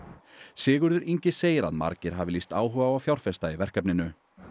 Sigurður Ingi segir að margir hafi lýst áhuga á að fjárfesta í verkefninu